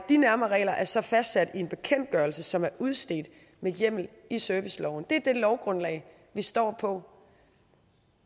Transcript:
de nærmere regler er så fastsat i en bekendtgørelse som er udstedt med hjemmel i serviceloven det er det lovgrundlag vi står på